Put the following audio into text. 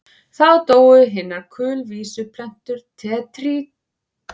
Þá dóu hinar kulvísu plöntur tertíertímabilsins út og áttu ekki afturkvæmt enda Ísland orðið eyja.